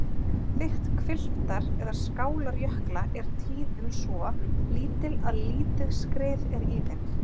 Þykkt hvilftar- eða skálarjökla er tíðum svo lítil að lítið skrið er í þeim.